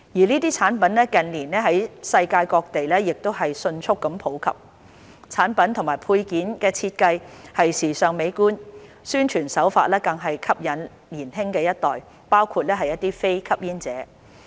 這些產品近年在世界各地迅速普及，產品及配件的設計時尚美觀，宣傳手法更是特別吸引年輕一代包括非吸煙者。